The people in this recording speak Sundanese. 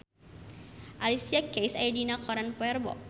Alicia Keys aya dina koran poe Rebo